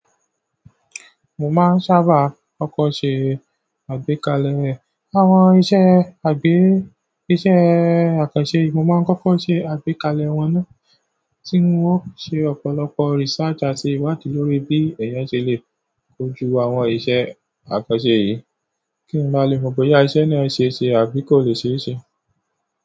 Mo máa ń sábà kọ́kọ́ ṣe àgbékalẹ̀ àwọn iṣẹ́ àgbé, iṣẹ́ àkànṣe. Mo máa n koko se àgbékalẹ̀ wọn na ti wo se ọ̀pọ̀lọpọ̀ research àti iwadi lórí bi èyán se le koju àwọn iṣẹ́. Àkànṣe yìí kí n máa lè mọ̀ bóyá iṣẹ́ náà ṣe ṣe àbí kò lè ṣe é ṣe.